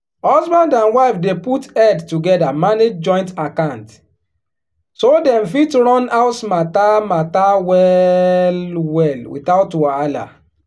husband and wife dey put head together manage joint account so dem fit run house matter matter well-well without wahala.